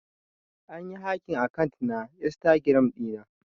An yi hacking akant na Instagram dina.